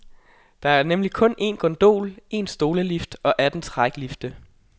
Der er nemlig kun en gondol, en stolelift og atten træklifte.